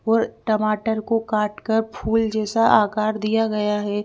और टमाटर को काटकर फूल जैसा आकार दिया गया है।